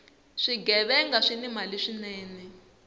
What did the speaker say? swighevenga swini mali swinene